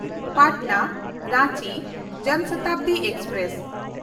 Patna Ranchi Jan Shatabdi express